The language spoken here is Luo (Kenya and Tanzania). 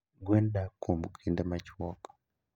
Gwen dak kuom kinde machuok.